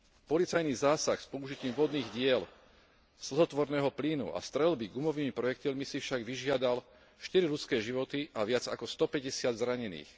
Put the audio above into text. Policajný zásah s použitím vodných diel, slzotvorného plynu a streľby gumovými projektilmi si však vyžiadal štyri ľudské životy a viac ako 150 zranených.